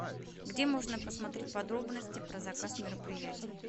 где можно посмотреть подробности про заказ мероприятий